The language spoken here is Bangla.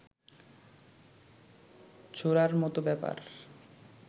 ছোঁড়ার মত ব্যাপার